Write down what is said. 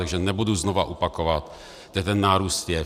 Takže nebudu znovu opakovat, kde ten nárůst je.